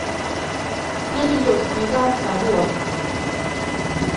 Nyalildos piik ap Arua.